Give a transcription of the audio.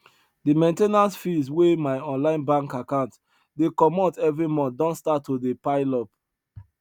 the main ten ance fees wey my online bank account dey comot every month don start to dey pile up